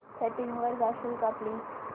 settings वर जाशील का प्लीज